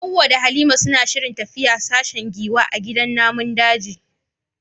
Hawwa da Halima suna shirin tafiya sashen giwa a gidan namun daji.